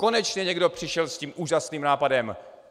Konečně někdo přišel s tím úžasným nápadem!